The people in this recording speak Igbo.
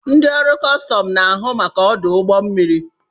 Ndị ọrụ kọstọm na-ahụ maka ọdụ ụgbọ mmiri.